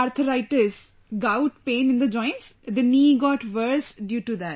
arthritis gout pain in the joints, the knee got worse due to that